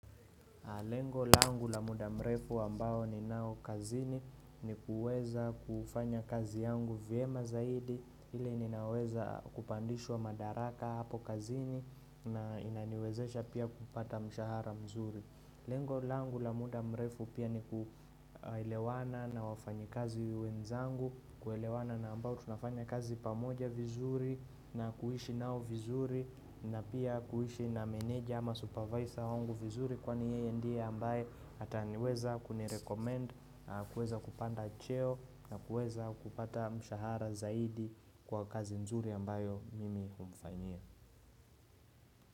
Lengo langu la muda mrefu ambao ninao kazini ni kuweza kufanya kazi yangu vyema zaidi ile ninaweza kupandishwa madaraka hapo kazini na inaniwezesha pia kupata mshahara mzuri Lengo langu la muda mrefu pia ni kuelewana na wafanyikazi wenzangu kuelewana na ambao tunafanya kazi pamoja vizuri na kuishi nao vizuri na pia kuishi na menaja ama supervisor wangu vizuri kwani yeye ndiye ambaye ataniweza kunirecommend kuweza kupanda cheo na kuweza kupata mshahara zaidi kwa kazi nzuri ambayo mimi humfanyia.